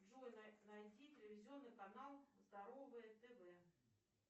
джой найди телевизионный канал здоровое тв